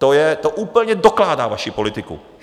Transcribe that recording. To úplně dokládá vaši politiku.